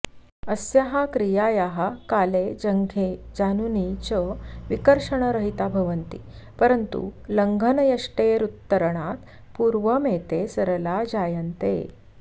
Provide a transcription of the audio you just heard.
अस्याः क्रियायाः काले जङ्घे जानुनी च विकर्षणरहिता भवन्ति परन्तूल्लङ्घनयष्टेरुत्तरणात् पूर्वमेते सरला जायन्ते